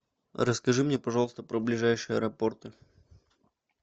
расскажи мне пожалуйста про ближайшие аэропорты